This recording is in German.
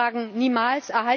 Wenn Sie mich fragen Niemals!